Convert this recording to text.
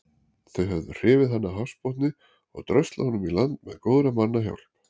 Þau höfðu hrifið hann af hafsbotni og dröslað honum í land með góðra manna hjálp.